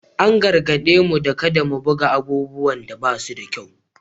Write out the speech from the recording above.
An gargaɗe mu da kada mu buga abubuwan da ba su da kyau